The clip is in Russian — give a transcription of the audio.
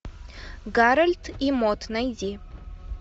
гарольд и мод найди